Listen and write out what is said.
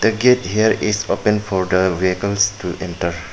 The gate here is open for the vehicles to enter.